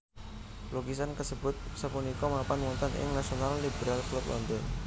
Lukisan kasebut sapunika mapan wonten ing National Liberal Club London